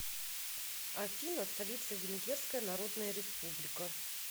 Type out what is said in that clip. афина столица венгерская народная республика